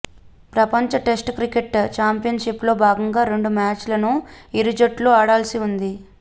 ప్రపంచ test cricket చాంపియన్షిప్లో భాగంగా రెండు మ్యాచ్లను ఇరు జట్లు ఆడాల్సి ఉంది